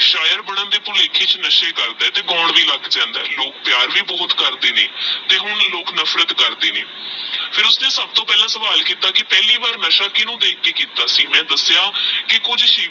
ਸ਼ਾਇਰ ਬਣਨ ਦੇ ਭੁਲੇਖੇ ਚ ਨਸ਼ੇ ਕਰਦਾ ਤੇਹ ਗਾਉਣ ਵੀ ਲਗ ਜਾਂਦਾ ਲੋਕ ਪ੍ਯਾਰ ਵੀ ਬਹੁਤ ਕਰਦੇ ਨੇ ਤੇਹ ਹੁਣ ਲੋਕ ਨਫਰਤ ਕਰਦੇ ਨੇ। ਫਿਰ ਉਸਨੇ ਸਬਤੋ ਪਹਲਾ ਸਵਾਲ ਕੀਤਾ ਕੀ ਪੇਹ੍ਲਿ ਵਾਰ ਨਸ਼ਾ ਕੀਨੁ ਦੇਖ ਕ ਕੀਤਾ ਸੀ ਮੈ ਦਸ੍ਯ ਕੀ ਕੁਛ